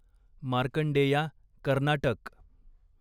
Markandeya Karnataka